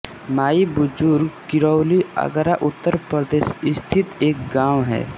माई बुजुर्ग किरौली आगरा उत्तर प्रदेश स्थित एक गाँव है